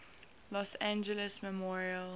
los angeles memorial